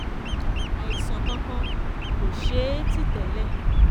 àìsàn kankan kò ṣe é ti tẹ́lẹ̀